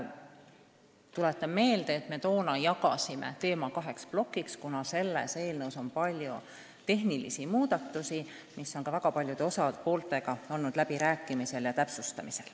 Tuletan meelde, et toona me jagasime teema kaheks plokiks, kuna oleme soovinud teha ka hulga tehnilisi muudatusi, mille üle me oleme väga paljude osapooltega läbi rääkinud, et regulatsiooni täpsustada.